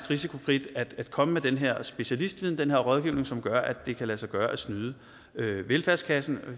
risikofrit at komme med den her specialistviden den her rådgivning som gør at det kan lade sig gøre at snyde velfærdskassen